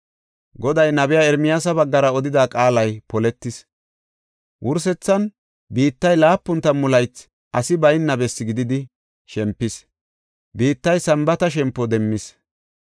Goday nabiya Ermiyaasa baggara odida qaalay poletis. Wursethan biittay laapun tammu laythi asi bayna bessi gididi shempis. Biittay Sambaata shempo demmis.